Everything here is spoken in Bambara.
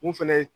Mun fɛnɛ ye